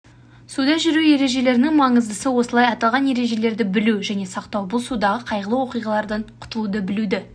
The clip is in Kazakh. суда жүру ережелерінің маңыздысы осылай аталған ережелерді білу және сақтау бұл судағы қайғылы оқиғалардан құтылуды білуді